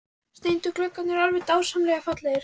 Steindu gluggarnir eru alveg dásamlega fallegir!